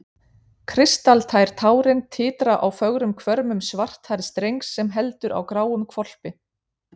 Kristaltær tárin titra á fögrum hvörmum svarthærðs drengs sem heldur á gráum hvolpi.